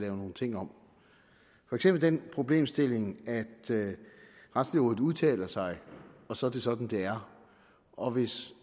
lavet nogle ting om for eksempel den problemstilling at retslægerådet udtaler sig og så er det sådan det er og hvis